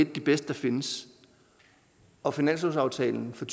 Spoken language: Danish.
de bedste der findes og finanslovsaftalen for